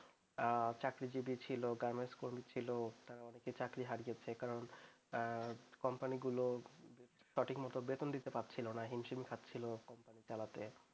চাকরিজিবী ছিল ছিল চাকরি হারিয়েছে কারণ কোম্পানিগুলো সঠিকমত বেতন দিতে পারছিল না হিমসিম খাচ্ছিল চালাতে